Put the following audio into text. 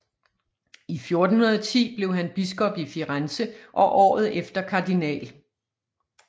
I 1410 blev han biskop i Firenze og året efter Kardinal